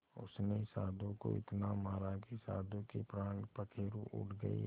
उसने साधु को इतना मारा कि साधु के प्राण पखेरु उड़ गए